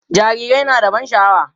jarirai na da ban sha'awa